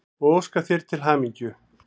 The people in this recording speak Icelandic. og óska þér til hamingju.